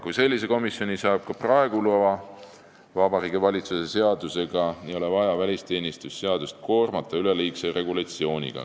Kui selline komisjon saab ka praegu loa Vabariigi Valitsuse seadusega, ei ole vaja välisteenistuse seadust koormata üleliigse regulatsiooniga.